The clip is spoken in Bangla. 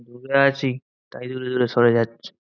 দূরে আছি, তাই দূরে দূরে সরে যাচ্ছে।